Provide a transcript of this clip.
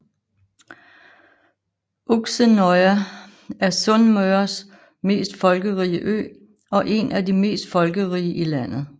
Uksenøya er Sunnmøres mest folkerige ø og en af de mest folkerige i landet